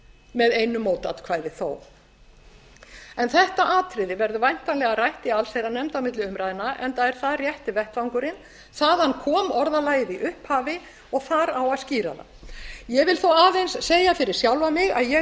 með einu mótatkvæði þó þetta atriði verður væntanlega rætt í allsherjarnefnd á milli umræðna enda er það rétti vettvangurinn þaðan kom orðalagið í upphafi og þar á að skýra það ég vil þó aðeins segja fyrir sjálfa mig að ég